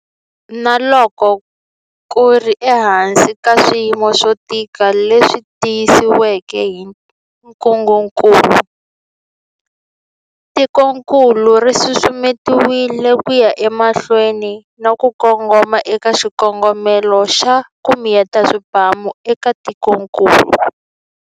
Na loko ku ri ehansi ka swiyimo swo tika leswi tisiweke hi ntungukulu, tikokulu ri susumetile ku ya emahlweni na ku kongoma eka xikongomelo xa 'ku miyeta swibamu' eka tikokulu.